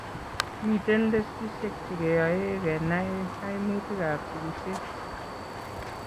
Miten teatisek chekeyoe kenai kaimutik ab sikseit